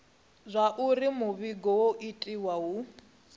zwauri muvhigo wo itiwa hu